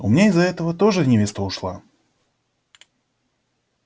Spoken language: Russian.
у меня из-за этого тоже невеста ушла